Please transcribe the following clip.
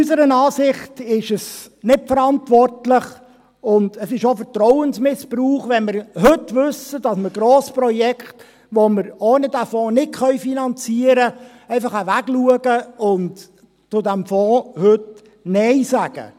Unserer Ansicht nach ist es nicht verantwortlich, und es ist auch ein Vertrauensmissbrauch, wenn wir heute einfach wegschauen und heute Nein zu diesem Fonds sagen, wenn wir wissen, dass wir Grossprojekte haben, die wir ohne diesen Fonds nicht finanzieren können.